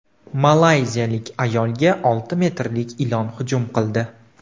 Malayziyalik ayolga olti metrlik ilon hujum qildi.